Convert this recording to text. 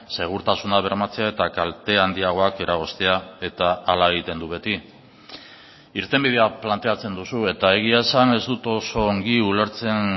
segurtasuna bermatzea eta kalte handiagoak eragoztea eta hala egiten du beti irtenbidea planteatzen duzu eta egia esan ez dut oso ongi ulertzen